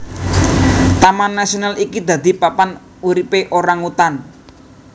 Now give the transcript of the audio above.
Taman nasional iki dadi papan uripe orangutan